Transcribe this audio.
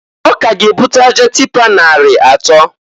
O ka ga ebuta aja tịpa nari atọọ.